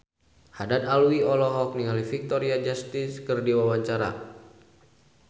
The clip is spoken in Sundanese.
Haddad Alwi olohok ningali Victoria Justice keur diwawancara